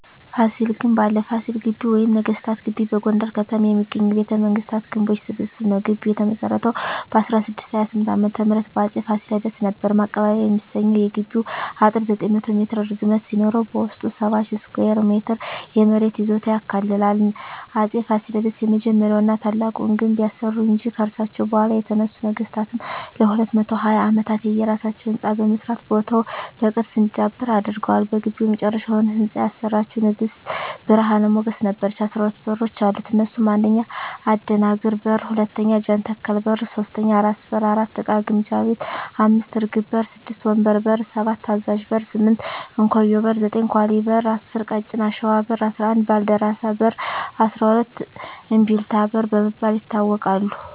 ፋሲል ግንብ አለ ፋሲል ግቢ ወይም ነገስታት ግቢ በጎንደር ከተማ የሚገኝ የቤተ መንግስታት ግንቦች ስብስብ ነዉ ግቢዉ የተመሰረተዉ በ1628ዓ.ም በአፄ ፋሲለደስ ነበር ማቀባበያ የሚሰኘዉ የግቢዉ አጥር 900ሜትር ርዝመት ሲኖረዉበዉስጡ 70,000ስኩየር ሜትር የመሬት ይዞታ ያካልላል አፄ ፋሲለደስ የመጀመሪያዉና ታላቁን ግንብ ያሰሩ እንጂ ከርሳቸዉ በኋላ የተነሱ ነገስታትም ለ220ዓመታት የየራሳቸዉ ህንፃ በመስራት ቦታዉ በቅርስ እንዲዳብር አድርገዋል በግቢዉ የመጨረሻዉን ህንፃ ያሰራቸዉን ንግስት ብርሀን ሞገስ ነበረች 12በሮች አሉት እነሱም 1. አደናግር በር 2. ጃንተከል በር 3. ራስ በር 4. እቃ ግምጃ ቤት 5. እርግብ በር 6. ወንበር በር 7. አዛዥ በር 8. እንኮዬ በር 9. ኳሊ በር 10. ቀጭን አሽዋ በር 11. ባልደራስ በር 12. እምቢልታ በር በመባል ይታወቃሉ